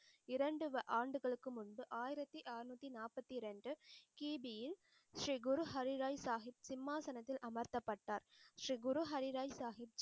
இரண்டு ஆண்டுகளுக்கு முன்பு ஆயிரத்தி ஆறுநூற்றி நாற்பத்தி இரண்டு கீதியில் ஸ்ரீ குரு ஹரிராய் சாஹிப் சிம்மாசனத்தில் அமர்த்தப்பட்டார். ஸ்ரீ குரு ஹரிராய் சாஹிப்